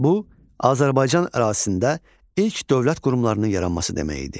Bu Azərbaycan ərazisində ilk dövlət qurumlarının yaranması demək idi.